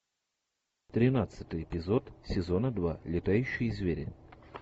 тринадцатый эпизод сезона два летающие звери